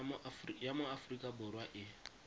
ya mo aforika borwa e